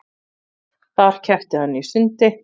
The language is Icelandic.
Þar keppti hann í sundi